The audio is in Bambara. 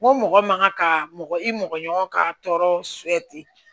N ko mɔgɔ man ka ka mɔgɔ i mɔgɔ ɲɔgɔn ka tɔɔrɔ